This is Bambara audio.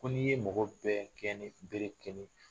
Ko ni ye mɔgɔ bɛɛ gɛn ni bere kelen ye